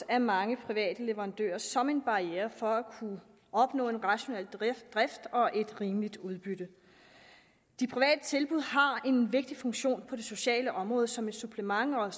af mange private leverandører som en barriere for at kunne opnå en rationel drift og et rimeligt udbytte de private tilbud har en vigtig funktion på det sociale område som et supplement og